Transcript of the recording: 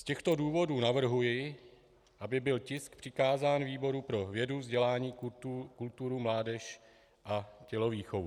Z těchto důvodů navrhuji, aby byl tisk přikázán výboru pro vědu, vzdělání, kulturu, mládež a tělovýchovu.